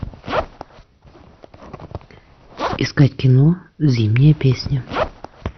искать кино зимняя песня